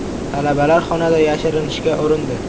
Talabalar xonada yashirinishga urindi.